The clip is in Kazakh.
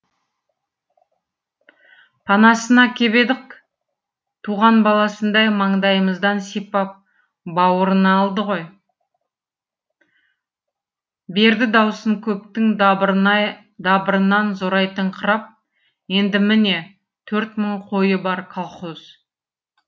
панасына кеп едік туған баласындай маңдайымыздан сипап баурына алды ғой берді даусын көптің дабырынан зорайтыңқырап енді міне төрт мың қойы бар колхоз